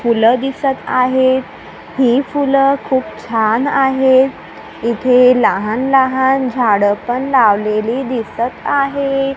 फुलं दिसत आहेत. ही फुलं खूप छान आहे इथं लहान-लहान झाडं पण लावलेली दिसत आहेत.